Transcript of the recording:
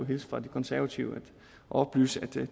hilse fra de konservative og oplyse at